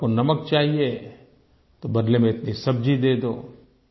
आपको नमक चाहिए तो बदले में इतनी सब्जी दे दो